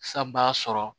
San b'a sɔrɔ